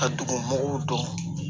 Ka dugumugu don